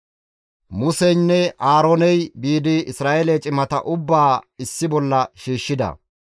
Museynne Aarooney biidi Isra7eele cimata ubbaa issi bolla shiishshida.